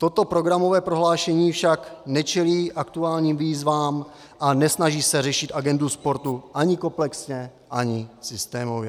Toto programové prohlášení však nečelí aktuálním výzvám a nesnaží se řešit agendu sportu ani komplexně, ani systémově.